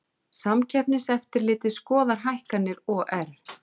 Samkeppniseftirlitið skoðar hækkanir OR